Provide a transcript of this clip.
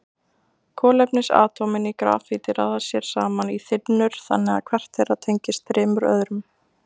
Kolefnisatómin í grafíti raða sér saman í þynnur þannig að hvert þeirra tengist þremur öðrum.